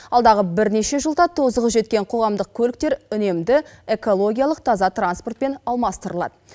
алдағы бірнеше жылда тозығы жеткен қоғамдық көліктер үнемді экологиялық таза транспортпен алмастырылады